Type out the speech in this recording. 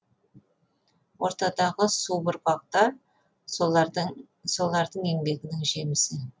ортадағы субұрқақ та солардың еңбегінің жемісі